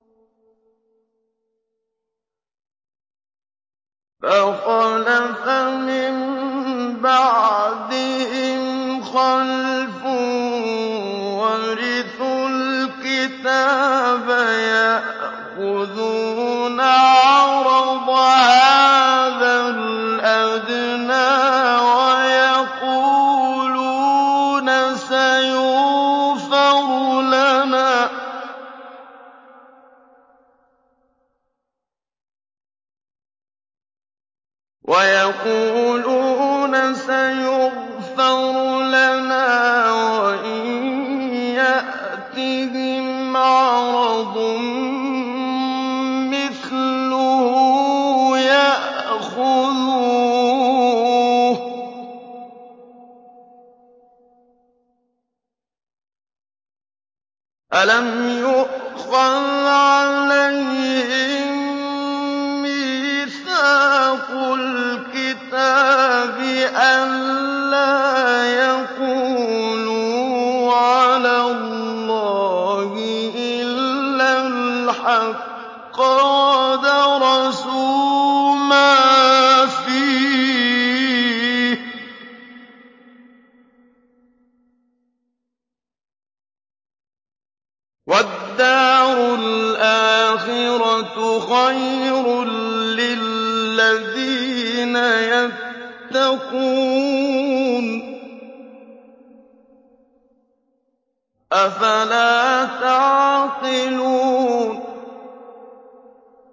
فَخَلَفَ مِن بَعْدِهِمْ خَلْفٌ وَرِثُوا الْكِتَابَ يَأْخُذُونَ عَرَضَ هَٰذَا الْأَدْنَىٰ وَيَقُولُونَ سَيُغْفَرُ لَنَا وَإِن يَأْتِهِمْ عَرَضٌ مِّثْلُهُ يَأْخُذُوهُ ۚ أَلَمْ يُؤْخَذْ عَلَيْهِم مِّيثَاقُ الْكِتَابِ أَن لَّا يَقُولُوا عَلَى اللَّهِ إِلَّا الْحَقَّ وَدَرَسُوا مَا فِيهِ ۗ وَالدَّارُ الْآخِرَةُ خَيْرٌ لِّلَّذِينَ يَتَّقُونَ ۗ أَفَلَا تَعْقِلُونَ